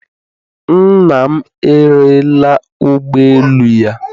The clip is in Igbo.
Nna m erela ụgbọ elu ya